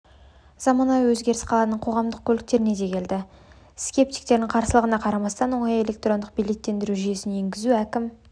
заманауи өзгеріс қаланың қоғамдық көліктеріне де келді скептиктердің қарсылығына қарамастан оңай электрондық билеттендіру жүйесін енгізуге әкім